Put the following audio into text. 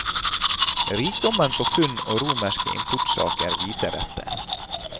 Rikdommen på funn og romerske importsaker viser dette.